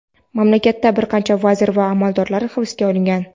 Mamlakatda bir qancha vazir va amaldorlar hibsga olingan.